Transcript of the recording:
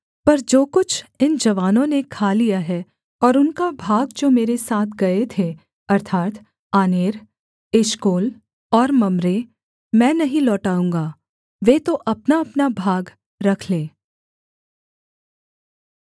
पर जो कुछ इन जवानों ने खा लिया है और उनका भाग जो मेरे साथ गए थे अर्थात् आनेर एशकोल और मम्रे मैं नहीं लौटाऊँगा वे तो अपनाअपना भाग रख लें